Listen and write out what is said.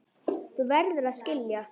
Þú verður að skilja.